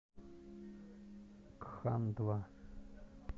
кхандва